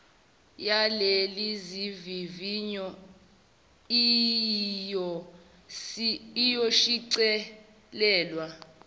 yalezi zivivinyo iyoshicilelwa